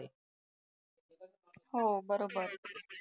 हो बरोबर